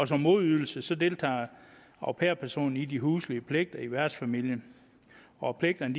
som modydelse deltager au pair personen i de huslige pligter i værtsfamilien og pligterne